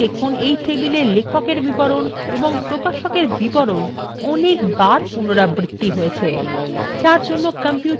তাই দেখুন এই টেবিলে লেখক এর বিবরণ ও প্রকাশক এর বিবরণ অনেক বার পুনরাবৃত্তি হয়েছে